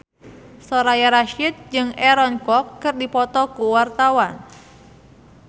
Soraya Rasyid jeung Aaron Kwok keur dipoto ku wartawan